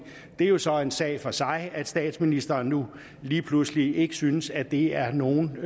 det er jo så en sag for sig at statsministeren nu lige pludselig ikke synes at det er nogen